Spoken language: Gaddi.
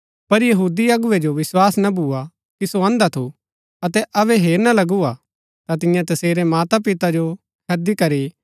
पर यहूदी अगुवै जो विस्वास ना भूआ कि सो अंधा थू अतै अबै हेरना लगू हा ता तियें तसेरै मातापिता जो हैदी करी